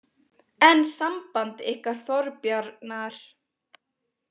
En samband ykkar Þorbjarnar?